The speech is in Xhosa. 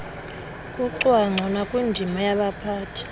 kucwangco nakwindima yabaphathi